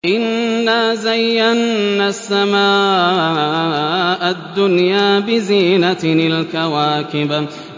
إِنَّا زَيَّنَّا السَّمَاءَ الدُّنْيَا بِزِينَةٍ الْكَوَاكِبِ